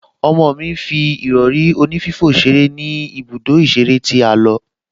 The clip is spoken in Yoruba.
Ọmọ mi fi ìrọ̀rí onífífò ṣeré ní ibùdó ìṣeré tí a lọ